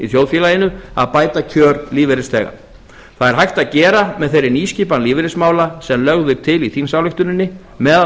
þjóðfélaginu að bæta kjör lífeyrisþega það er hægt að gera með þeirri nýskipan lífeyrismála sem lögð er til í þingsályktuninni meðal